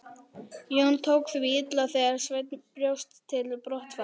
Jón tók því illa þegar Sveinn bjóst til brottfarar.